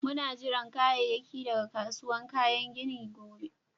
Muna jiran kayakin daga kasuwan kayan ginin gobe.